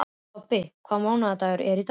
Tobbi, hvaða mánaðardagur er í dag?